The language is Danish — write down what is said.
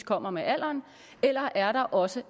kommer med alderen eller er der også